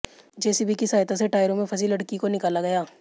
JCB की सहायता से टायरों में फंसी लड़की को निकाला गया